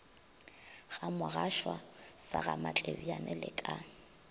gamogashoa sa gamatlebjane le ka